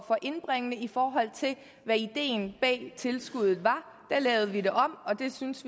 for indbringende i forhold til hvad ideen bag tilskuddet var da lavede vi det om og vi synes